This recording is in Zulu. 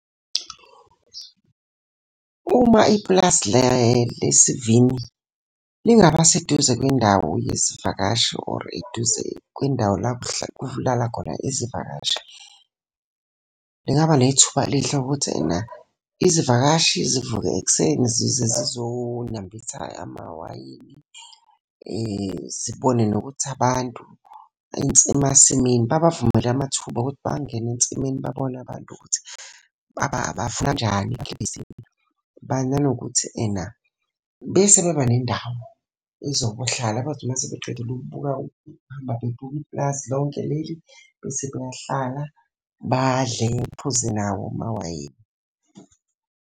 Uma ipulazi lesi sivini lingaba seduze kwendawo yezivakashi or eduze kwendawo la, kulala khona izivakashi, lingaba nethuba elihle ukuthi ena izivakashi zivuke ekuseni zize zizonambitha amawayini. Zibone nokuthi abantu emasimini, babavumele amathuba okuthi bangene ensimini babone abantu ukuthi . Nanokuthi ena, bese beba nendawo ezohlala, bazothi uma sebeqedile ukubuka ukuhamba bebuka ipulazi lonke leli, bese beyahlala, badle, baphuze nawo amawayini.